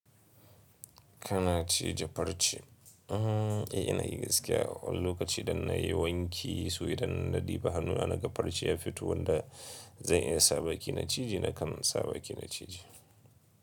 Kana cije farce? Eh, ina yi gaskiya. Wani lokaci idan na yi wanki, so idan na ɗiba hannu anaga farce ya fito wanda zan iya sa baki na cije na kan sa baki na cije.